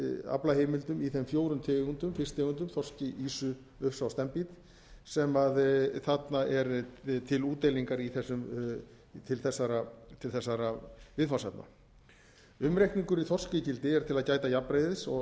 aflaheimildum í þeim fjórum tegundum fisktegundum þorski ýsu ufsa og steinbít sem þarna er til útdeilingar til þessara viðfangsefna umreikningur í þorskígildi er til að gæta jafnræðis og